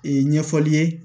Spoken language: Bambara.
Ee ɲɛfɔli ye